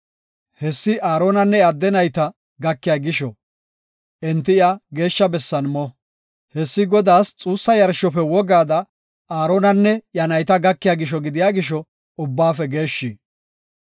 Hessi Aaronanne iya adde nayta gakiya gisho; enti iya geeshsha bessan mo. Hessi Godaas xuussa yarshuwafe wogaada Aaronanne iya nayta gakiya gisho gidiya gisho Ubbaafe Geeshshi.